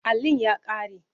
Allin ya ƙare.